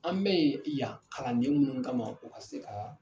An bɛ ye yan kalanden minnu kama o ka se ka